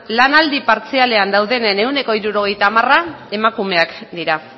lanaldi partzialean dauden ehuneko hirurogeita hamara emakumeak dira